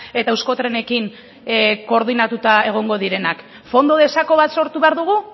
eta euskotrenekin koordinatuta egongo direnak fondo de saco bat sortu behar dugu